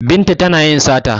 Binta tana yin sata